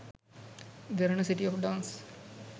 derana city of dance